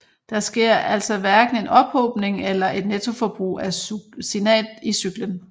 Der sker altså hverken en ophobning eller et nettoforbrug af succinat i cyklen